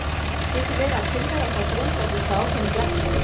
Getur verið að tilvera okkar grundvallist á ákveðinni blekkingu?